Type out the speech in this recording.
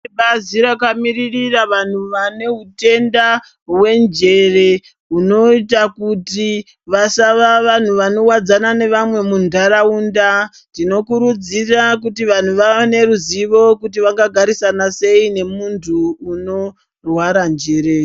Ibazi rakamiririra vantu vane hutenda hwenjere hunoita kuti vasava vantu vanovadzana nevamwe mundaraunda. Tinokurudzira kuti vantu vavane ruzivo kuti vangagarisana sei nemuntu unorwara njere.